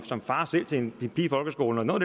som far til til en pige i folkeskolen og noget